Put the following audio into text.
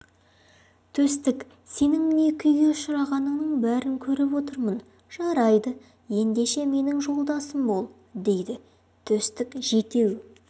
төстік сенің не күйге ұшырағаныңның бәрін көріп отырмын жарайды ендеше менің жолдасым бол дейді төстік жетеу